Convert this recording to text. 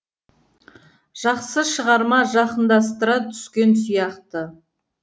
жақсы шығарма жақындастыра түскен сияқты